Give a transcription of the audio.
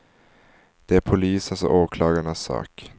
Det är polisens och åklagarnas sak.